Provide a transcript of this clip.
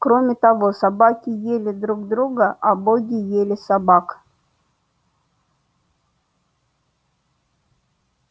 кроме того собаки ели друг друга а боги ели собак